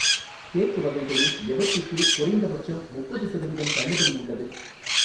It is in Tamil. கேக் வகைகளில் எவற்றுக்கு குறைந்தபட்சம் முப்பது சதவீதம் தள்ளுபடி உள்ளது?